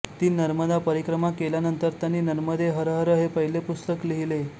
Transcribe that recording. तीन नर्मदा परिक्रमा केल्यानंतर त्यांनी नर्मदे हर हर हे पहिले पुस्तक लिहिले